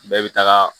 Bɛɛ bɛ taga